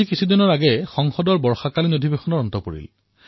কিছুদিন পূৰ্বে সংসদৰ বাৰিষাৰ সত্ৰ সমাপ্ত হল